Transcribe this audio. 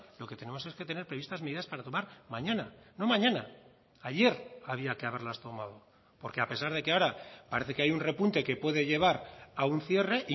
lo que tenemos es que tener previstas medidas para tomar mañana no mañana ayer había que haberlas tomado porque a pesar de que ahora parece que hay un repunte que puede llevar a un cierre